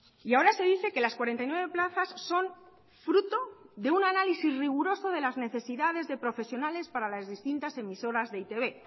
y ahora se dice que las cuarenta y nueve plazas son fruto de un análisis riguroso de las necesidades de profesionales para las distintas emisoras de e i te be